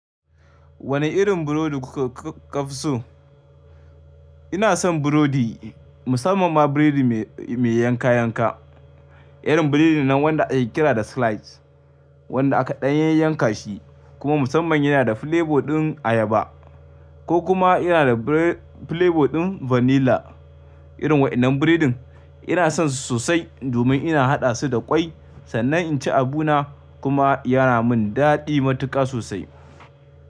Wane irin burodi kuka kafso? Ina son burodi, musamman ma burodi mai yanka yanka. Irin burodin nan wanda ake kira da slice, wanda a kaɗan yayi yanka shi kuma musamman yana da flavor ɗin ayaba ko kuma yana da flavor ɗin vanilla. Irin waɗannan burodin ina son su sosai domin ina haɗa su da ƙwai sannan inci abu na kuma yana min daɗi matuƙa sosai.